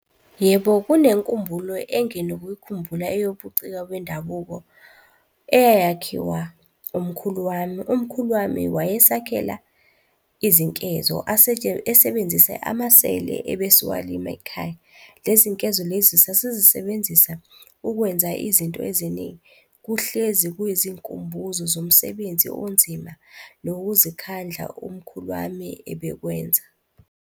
Yebo, kunenkumbulo enginokuyikhumbula eyobuciko bendabuko eyayakhiwa umkhulu wami. Umkhulu wami wayesakhela izinkezo esebenzise amasele ebesiwalima ekhaya. Lezi nkezo lezi sasisebenzisa ukwenza izinto eziningi. Kuhlezi kuyizinkumbuzo zomsebenzi onzima nokuzikhandla umkhulu wami ebekwenzeka.